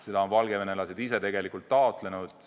Seda on valgevenelased ise tegelikult taotlenud.